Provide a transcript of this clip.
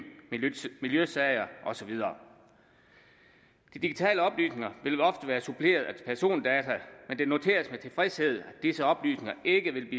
miljøsager og så videre de digitale oplysninger vil ofte være suppleret af persondata men det noteres med tilfredshed at disse oplysninger ikke vil